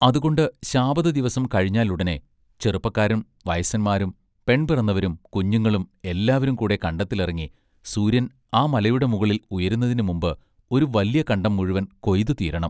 അതുകൊണ്ട് ശാബത ദിവസം കഴിഞ്ഞാലുടനെ ചെറുപ്പക്കാരും വയസ്സന്മാരും പെൺപിറന്ന വരും കുഞ്ഞുങ്ങളും എല്ലാവരും കൂടെ കണ്ടത്തിലിറങ്ങി സൂര്യൻ ആ മലയുടെ മുകളിൽ ഉയരുന്നതിനു മുമ്പ് ഒരു വല്യ കണ്ടം മുഴുവൻ കൊയ്തു തീരെണം.